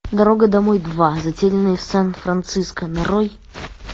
дорога домой два затерянные в сан франциско нарой